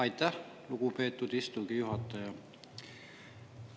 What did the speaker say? Aitäh, lugupeetud istungi juhataja!